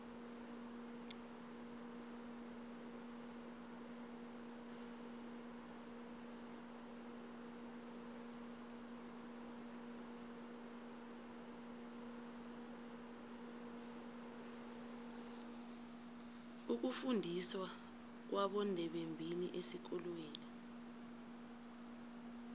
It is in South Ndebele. ukufundiswa kwabondebembili esikolweni